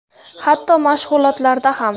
Hatto mashg‘ulotlarda ham.